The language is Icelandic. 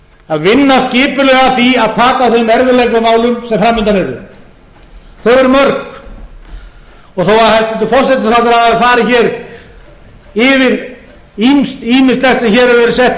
að vinna skipulega að því að taka á þeim erfiðleikamálum sem framundan eru þau eru mörg og þó hæstvirtur forsætisráðherra hafi farið hér yfir ýmislegt sem hér hefur verið sett í lög og